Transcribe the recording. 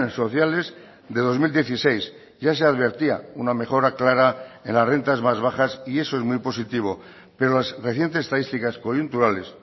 sociales de dos mil dieciséis ya se advertía una mejora clara en las rentas más bajas y eso es muy positivo pero las recientes estadísticas coyunturales